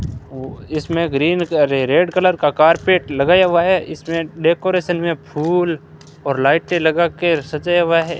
इसमें green red colour का carpet लगाया हुआ है इसमें डेकोरेशन में फूल और लाइटें लगा के सजाया हुआ है।